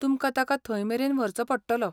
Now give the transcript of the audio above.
तुमकां ताका थंयमेरेन व्हरचो पडटलो.